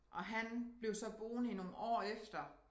Og han blev så boende i nogle år efter